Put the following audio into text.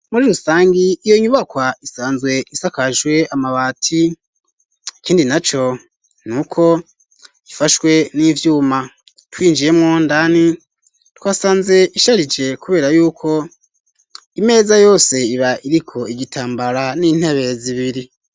Muri rusangi iyo nyubakwa isanzwe isakajwe amabati, ikindi na co nuko ifashwe n'ivyuma, twinjiyemwo ndani twasanze risharije kubera y'uko imeza yose iba iriko igitambara n'intebe zibiri.